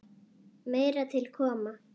Meira til koma.